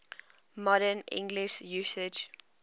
modern english usage